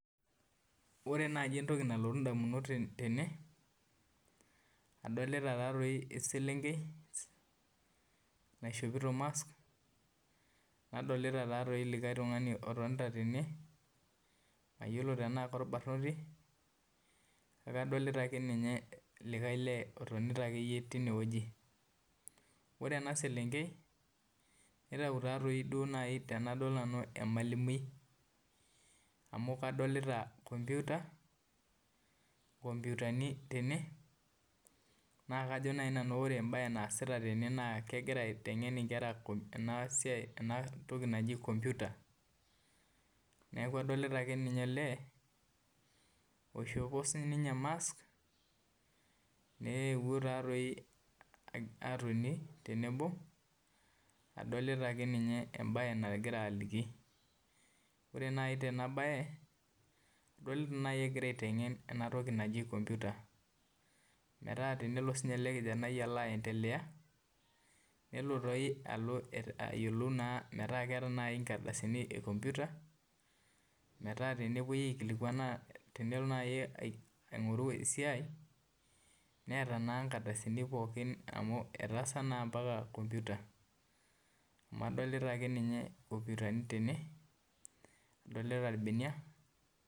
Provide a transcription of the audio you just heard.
Ore naaji nalotu indamunot tene adolita eselwnkei naishopito mask nadolita linkae lee otonita nite weueji ore eselenkei neitau emalumui amu adolita computer naa kajo naaji anu ore enaasita na kegira aiteng'en inkera naji komputa neeku adolita nanu olee oishopo sii inye mask tenebo adolita embaye adolita egira aiteng'en entoki naji Kompyuta metaa entoki nagira aendelea n